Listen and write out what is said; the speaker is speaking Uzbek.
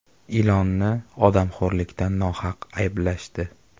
Ilonni odamxo‘rlikda nohaq ayblashdi.